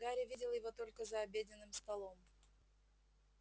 гарри видел его только за обеденным столом